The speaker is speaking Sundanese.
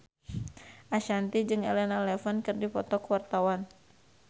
Ashanti jeung Elena Levon keur dipoto ku wartawan